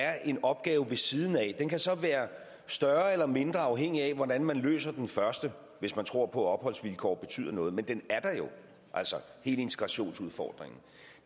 er en opgave ved siden af den kan så være større eller mindre afhængig af hvordan man løser den første hvis man tror på at opholdsvilkår betyder noget men den er der jo altså hele integrationsudfordringen